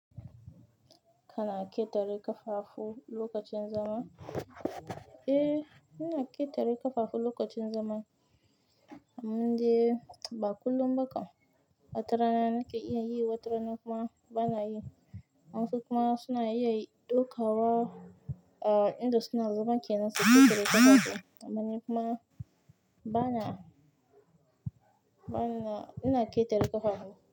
Kana ƙetare ƙafafu lokacin zama? Eh, ina ƙetare ƙafafu lokacin zaman, ammandai ba kullum ba kam. Wata rana nakan iya yi, wata rana kuma bana yi. Wayansu kuma suna iya ɗaukawa, a, inda suna zaman kenan su ƙetare ƙafafu. Amma ni kuma bana, bana, ina ƙetare ƙafafu.